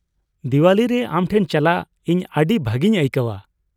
ᱫᱤᱣᱟᱞᱤ ᱨᱮ ᱟᱢᱴᱷᱮᱱ ᱪᱟᱞᱟᱜ ᱤᱧ ᱟᱹᱰᱤ ᱵᱷᱟᱹᱜᱤᱧ ᱟᱹᱭᱠᱟᱹᱣᱼᱟ ᱾